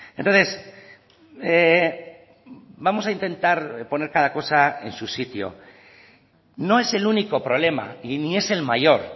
entonces vamos a intentar poner cada cosa en su sitio no es el único problema y ni es el mayor